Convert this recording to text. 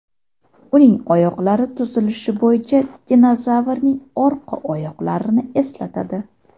Uning oyoqlari tuzilishi bo‘yicha dinozavrning orqa oyoqlarini eslatadi.